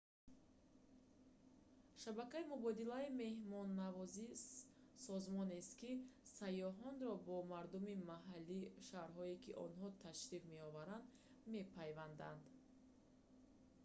шабакаи мубодилаи меҳмоннавозӣ созмонест ки сайёҳонро бо мардуми маҳаллии шаҳрҳое ки онҳо ташриф меоваранд мепайвандад